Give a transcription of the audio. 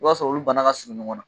I b'a sɔrɔ olu bana ka surun ɲɔgɔn na